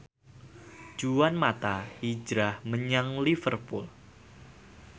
Juan mata hijrah menyang Liverpool